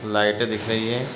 लाइटे दिख रही हैं ।